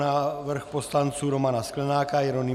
Návrh poslanců Romana Sklenáka, Jeronýma